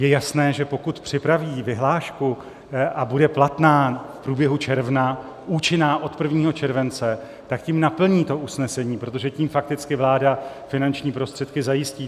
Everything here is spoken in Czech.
Je jasné, že pokud připraví vyhlášku a bude platná v průběhu června, účinná od 1. července, tak tím naplní to usnesení, protože tím fakticky vláda finanční prostředky zajistí.